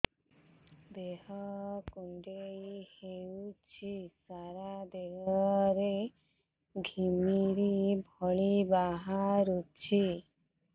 ଦେହ କୁଣ୍ଡେଇ ହେଉଛି ସାରା ଦେହ ରେ ଘିମିରି ଭଳି ବାହାରୁଛି